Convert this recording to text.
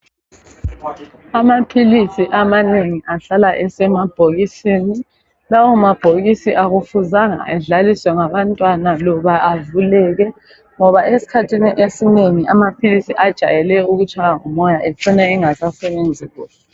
Amaphilisi amanengi ahlala esemabhokisini. Lawo mabhokisi akufuzanga edlaliswe ngabantwana loba avuleke ngoba esikhathi esinengi amaphilisi ajayele ukutshaywa ngumoya ecine engasasebenzi kuhle